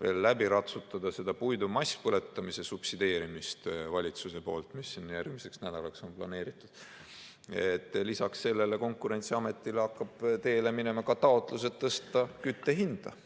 veel läbi ratsutada puidu masspõletamise subsideerimist valitsuse poolt, mis on järgmiseks nädalaks planeeritud, hakkab Konkurentsiameti poole teele minema ka taotlus, et tõsta kütte hinda.